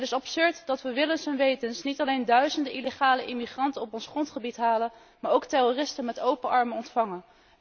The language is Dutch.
Het is absurd dat we willens en wetens niet alleen duizenden illegale immigranten op ons grondgebied halen, maar ook terroristen met open armen ontvangen.